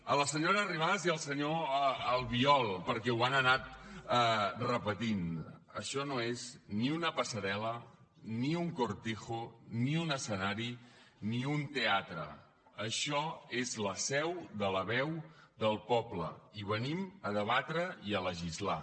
a la senyora arrimadas i al senyor albiol perquè ho han anat repetint això no és ni una passarel·la ni un cortijo ni un escenari ni un teatre això és la seu de la veu del poble i venim a debatre i a legislar